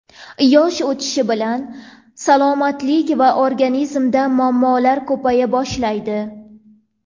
Yosh o‘tishi bilan salomatlik va organizmda muammolar ko‘paya boshlaydi.